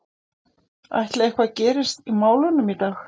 Ætli eitthvað gerist í málunum í dag?